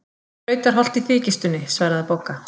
Brautarholt í þykjustunni, svaraði Bogga.